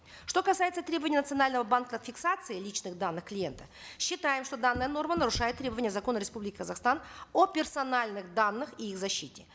что касается требования национального банка фиксации личных данных клиента считаем что данная норма нарушает требования закона республики казахстан о персональных данных и их защите